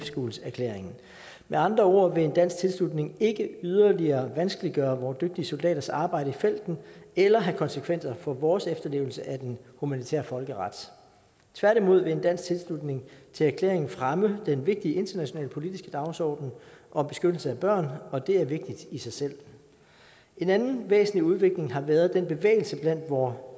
schools erklæringen med andre ord vil en dansk tilslutning ikke yderligere vanskeliggøre vore dygtige soldaters arbejde i felten eller have konsekvenser for vores efterlevelse af den humanitære folkeret tværtimod vil en dansk tilslutning til erklæringen fremme den vigtige internationale politiske dagsorden om beskyttelse af børn og det er vigtigt i sig selv en anden væsentlig udvikling har været den bevægelse blandt vore